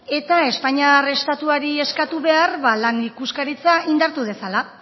eta espainiar estatuari eskatu behar lan ikuskaritza indartu dezala